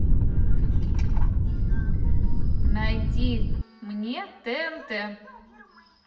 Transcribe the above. найди мне тнт